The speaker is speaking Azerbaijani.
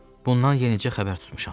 Bundan yenicə xəbər tutmuşam.